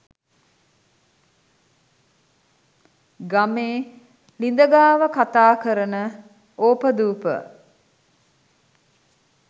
ගමේ ලිද ගාව කතාකරන ඕපදූප